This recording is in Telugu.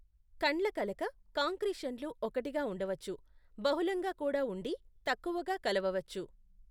కండ్లకలక కాంక్రీషన్లు ఒక్కటిగా ఉండవచ్చు, బహుళంగా కూడా ఉండి, తక్కువగా కలవవచ్చు.